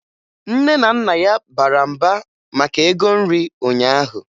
Nne na Nna ya bara mba maka ego nri ụnyaahụ